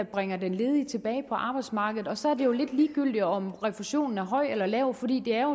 bringer den ledige tilbage på arbejdsmarkedet så er det lidt ligegyldigt om refusionen er høj eller lav for det er